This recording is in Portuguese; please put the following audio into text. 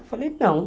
Eu falei, não.